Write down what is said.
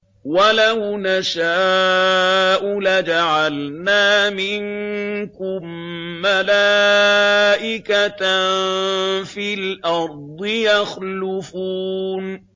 وَلَوْ نَشَاءُ لَجَعَلْنَا مِنكُم مَّلَائِكَةً فِي الْأَرْضِ يَخْلُفُونَ